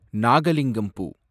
நாகலிங்கம் பூ